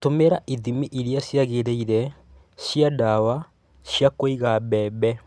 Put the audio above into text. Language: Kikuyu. Tũmĩra ithimi irĩa ciagĩrĩire cia ndawa cia kũiga mbembe.